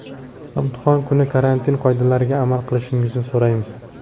Imtihon kuni karantin qoidalariga amal qilishingizni so‘raymiz.